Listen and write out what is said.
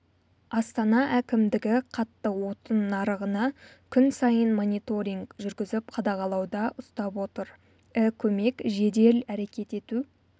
астана әкімдігі қатты отын нарығына күн сайын мониторинг жүргізіп қадағалауда ұстап отыр і-көмек жедел әрекет ету